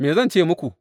Me zan ce muku?